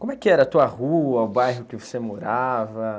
Como é que era a tua rua, o bairro que você morava?